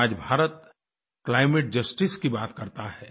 जब आज Bharat climate justice की बात करता है